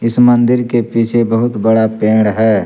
इस मंदिर के पीछे बहुत बड़ा पेड़ है।